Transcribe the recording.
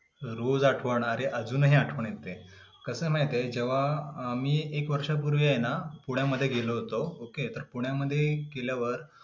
रोज आठवण, अरे अजूनही आठवण येते. कसं माहीत आहे, जेंव्हा मी एक वर्षांपूर्वी आहे ना पुण्यामध्ये गेलो होतो. okay पुण्यामध्ये गेल्यावर.